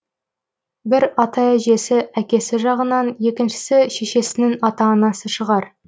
бір ата әжесі әкесі жағынан екіншісі шешесінің ата анасы шығар